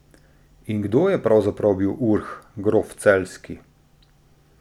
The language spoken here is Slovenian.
In kdo je pravzaprav bil Urh, grof Celjski?